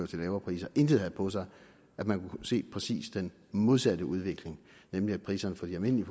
til lavere priser intet havde på sig man kunne se præcis den modsatte udvikling nemlig at priserne for de almindelige